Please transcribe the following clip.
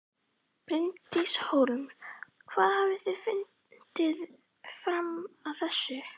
Bryndís Hólm: Hvað hafið þið fundið fram að þessu?